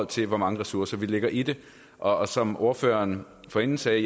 til hvor mange ressourcer vi lægger i det og som ordføreren forinden sagde